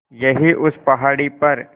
यहीं उस पहाड़ी पर